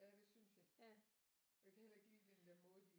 Ja det synes jeg jeg kan heller ikke lide den der måde de